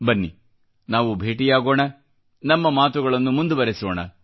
ಬನ್ನಿ ನಾವು ಭೇಟಿಯಾಗೋಣ ನಮ್ಮ ಮಾತುಗಳನ್ನು ಮುಂದುವರೆಸೋಣ